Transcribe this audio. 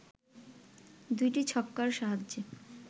২টি ছক্কার সাহায্যে